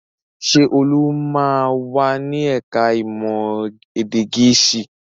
Ṣé Olu máa wà ní ẹ̀ka-ìmọ̀ èdè Gẹ̀ẹ́sì?